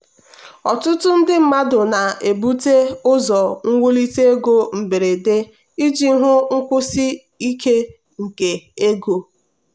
ọtụtụ ndị mmadụ na-ebute ụzọ iwulite ego mberede iji hụ nkwụsi ike nke ego.